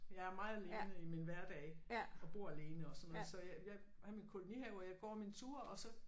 Jeg er meget alene i min hverdag og bor alene og sådan noget så jeg jeg er i min kolonihave og går mine ture og så